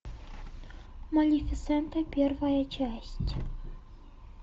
малефисента первая часть